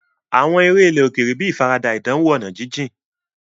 Àwọn eré ilẹ̀ òkèèrè bíi ìfaradà ìdánwò ọ̀nà jíjìn.